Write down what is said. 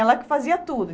Ela que fazia tudo.